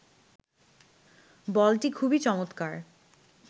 বলটি খুবই চমৎকার